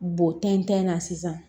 Bo tɛntɛn na sisan